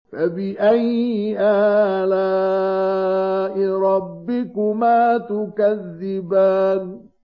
فَبِأَيِّ آلَاءِ رَبِّكُمَا تُكَذِّبَانِ